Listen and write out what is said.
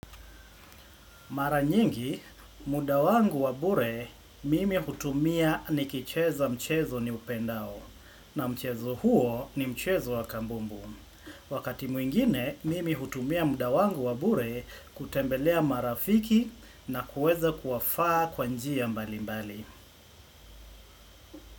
Mara nyingi, muda wangu wabure mimi hutumia nikicheza mchezo niupendao na mchezo huo ni mchezo wa kabumbu. Wakati mwingine, mimi hutumia muda wangu wa bure kutembelea marafiki na kuweza kuwafaa kwa njia mbalimbali.